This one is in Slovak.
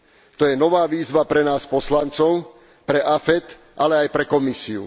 To je nová výzva pre nás poslancov, pre AFET, ale aj pre Komisiu.